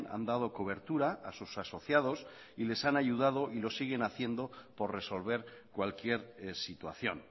han dado cobertura a sus asociados y les han ayudado y lo siguen haciendo por resolver cualquier situación